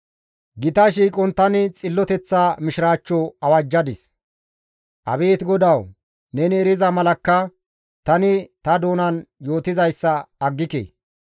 Gita shiiqon tani xilloteththa mishiraachcho awajjadis. Abeet GODAWU! Neni eriza malakka tani ta doonan yootizayssa aggike.